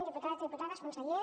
diputats diputades conseller